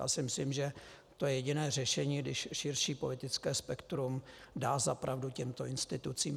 Já si myslím, že to je jediné řešení, když širší politické spektrum dá zapravdu těmto institucím.